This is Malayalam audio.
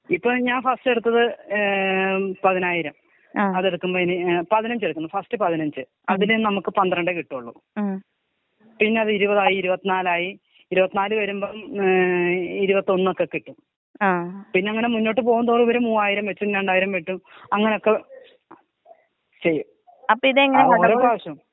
ഇപ്പ ഞാൻ ഫസ്റ്റ് എടുത്തത് ഏ പതിനായിരം. അതെടുക്കമ്പേന് പതിനഞ്ചെടുത്തു ഫസ്റ്റ് പതിനഞ്ച് അതില് നമുക്ക് പന്ത്രണ്ടെ കിട്ടൊള്ളു. പിന്നെ അത് ഇരുവത് ആയി ഇരുപത്തി നാലായി ഇരുവത് നാല് വരുമ്പം ഏ ഇരുവത്തൊന്നൊക്കെ കിട്ടും പിന്നെങ്ങനെ മുന്നോട്ട് പോവുന്തോറും ഇവര് മൂവായിരം വെച്ചും രണ്ടായിരം കിട്ടും അങ്ങനൊക്കെ ചെയ്യും അത് ഓരോ പ്രാവശ്യം.